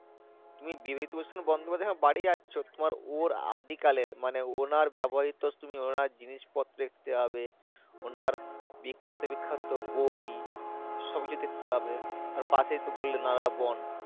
তুমি বিবিধিপ্রসাদ বন্দ্যোপাধ্যায় এর বাড়ি যাচ্ছ ওর আদি কালের মানে ওনার ব্যাবহারিত তুমি ওনার জিনিসপত্র দেখতে পাবে ওনার বিক্কাত বিক্কাত বই সবকিছু দেখতেপাবে পাশে তো বললে নারোয়া বন।